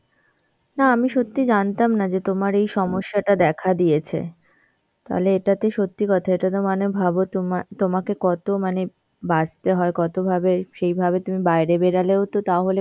না আমি সত্যি জানতাম না যে তোমার এই সমস্যাটা দেখা দিয়েছে. তালে এটাতে সত্যি কথা এটাতো মানে ভাবো তোমা~ তোমাকে কত মানে বাঁচতে হয় কতভাবে, সেইভাবে তুমি বাইরে বেড়ালেও তো তাহলে